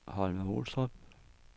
Holme-Olstrup